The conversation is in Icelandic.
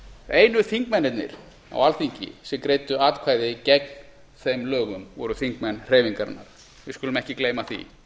einu þingmennirnir á alþingi sem greiddu atkvæði gegn þeim lögum voru þingmenn hreyfingarinnar við skulum ekki gleyma því